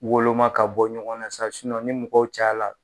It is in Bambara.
Woloma ka bɔ ɲɔgɔn na sa, ni mɔgɔw caya la